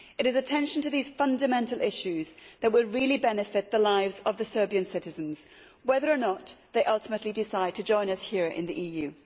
It is attention to these fundamental issues that will really benefit the lives of Serbian citizens, whether or not they ultimately decide to join us here in the EU.